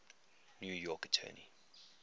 new york attorney